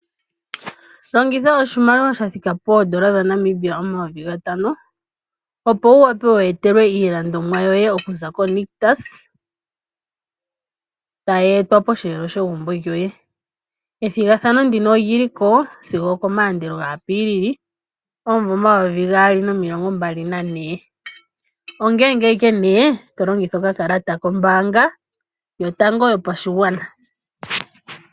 Oto vulu oku longitha eloli oku humbata iinima yoye mbyoka ya za ko nitcus kombiliha. Shika oto shiningi owahala ngele oho longitha okakalata ko mbaanga ya FNB.